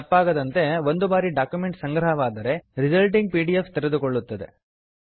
ತಪ್ಪಾಗದಂತೆ ಒಂದು ಬಾರಿ ಡಾಕ್ಯುಮೆಂಟ್ ಸಂಗ್ರಹವಾದರೆ ರಿಸಲ್ಟಿಂಗ್ ಪಿ ಡಿ ಎಫ್ ತೆರೆದುಕೊಳ್ಳುತ್ತದೆ